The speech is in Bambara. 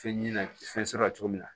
Fɛn ɲina fɛn sɔrɔ cogo min na